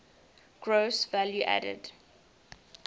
gross value added